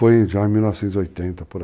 em 1980 por aí.